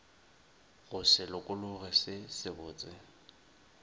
go se lokologe se sebotse